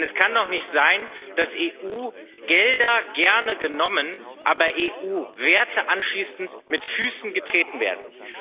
Denn es kann doch nicht sein, dass EU Gelder gerne genommen, aber EU Werte anschließend mit Füßen getreten werden.